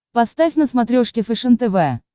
поставь на смотрешке фэшен тв